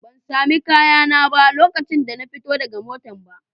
Ban sami kayana ba lokacin da na fito daga matan ba.